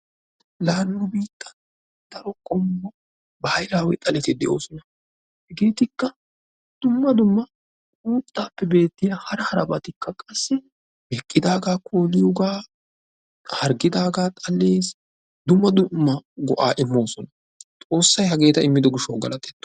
La nu biittan daro qommo baahilawe xaletti de'oosona. Hegeetlkka dumma dumma uuttappe beettiyaa hara harabatikka qassi meqidaaga kolliyooga, harggiidaaga xallees. Dumma dumma go"a immosona. Xoossay hageeta immido gishshaw galatetto!